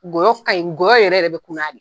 Ngɔyɔ ka ɲin, ngɔyɔ yɛrɛ yɛrɛ de bɛ kunnnaya de